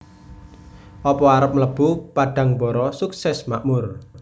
Opo arep mlebu Padangbara Sukses Makmur